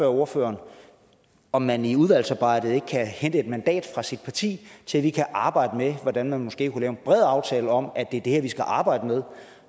ordføreren om man i udvalgsarbejdet ikke kan hente et mandat fra sit parti til at vi kan arbejde med hvordan man måske kunne lave en bred aftale om at det er det her vi skal arbejde med